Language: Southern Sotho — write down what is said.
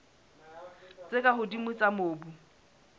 tse ka hodimo tsa mobu